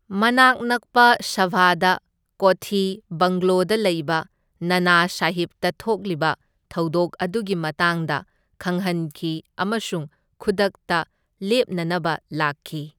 ꯃꯅꯥꯛ ꯅꯛꯄ ꯁꯥꯚꯥꯗ ꯀꯣꯊꯤ ꯕꯪꯒ꯭ꯂꯣꯗ ꯂꯩꯕ ꯅꯥꯅꯥ ꯁꯥꯍꯤꯞꯇ ꯊꯣꯛꯂꯤꯕ ꯊꯧꯗꯣꯛ ꯑꯗꯨꯒꯤ ꯃꯇꯥꯡꯗ ꯈꯪꯍꯟꯈꯤ ꯑꯃꯁꯨꯡ ꯈꯨꯗꯛꯇ ꯂꯦꯞꯅꯅꯕ ꯂꯥꯛꯈꯤ꯫